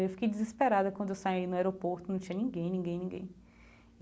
Eu fiquei desesperada quando eu saí no aeroporto, não tinha ninguém, ninguém, ninguém.